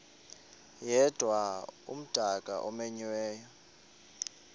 yedwa umdaka omenyiweyo